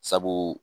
Sabu